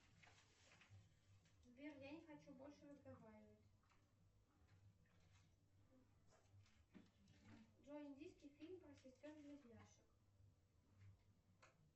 сбер я не хочу больше разговаривать джой индийский фильм про сестер близняшек